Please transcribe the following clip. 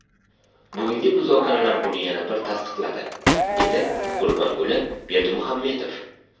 Bugungi muzokaralar buni yana bir tasdiqladi”, dedi Gurbanguli Berdimuhamedov.